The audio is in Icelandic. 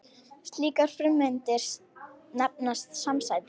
Slíkar frumeindir nefnast samsætur.